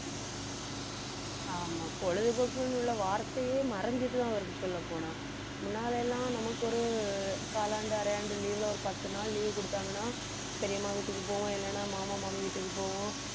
ஆமா பொழுதுபோக்குன்னு உள்ள வார்த்தையே மறைஞ்சிட்டுதான் வருது சொல்லப்போனா முன்னால எல்லாம் நமக்கு ஒரு காலாண்டு, அரையாண்டு leave ல ஒரு பத்து நாள் leave கொடுத்தாங்கன்னா பெரியம்மா வீட்டுக்கு போவோம் இல்லைன்னா மாமா, மாமி வீட்டுக்கு போவோம்